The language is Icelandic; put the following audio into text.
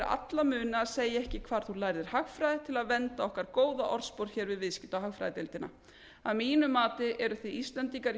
muni að segja ekki hvar þú lærðir hagfræði til að vernda okkar góða orðspor hér við viðskipta og hagfræðideildina að mínu mati eru þið íslendingar í